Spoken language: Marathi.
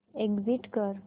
एग्झिट कर